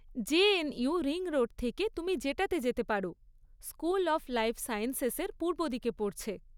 JNU ring road থেকে তুমি যেটাতে যেতে পার, স্কুল অফ লাইফ সায়েন্সেসের পূর্বদিকে পড়ছে।